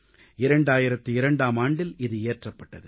2002ஆம் ஆண்டில் இது இயற்றப்பட்டது